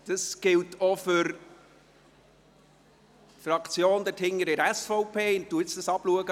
Dies gilt auch für jene Fraktionsmitglieder der SVP, die weiter hinten im Saal sitzen.